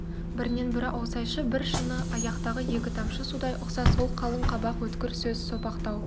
бірінен бірі аусайшы бір шыны аяқтағы екі тамшы судай ұқсас сол қалың қабақ өткір көз сопақтау